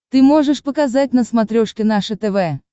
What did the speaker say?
ты можешь показать на смотрешке наше тв